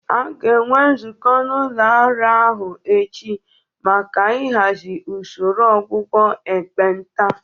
A ga-enwe nzukọ n'ụlọ ọrụ ahụ echi maka ịhazi usoro ọgwụgwọ ekpenta